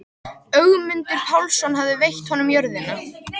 Ögmundur Pálsson hafði veitt honum jörðina.